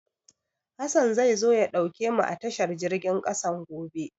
Hassan zai zo ya ɗauke mu a tashar jirgin ƙasan gobe.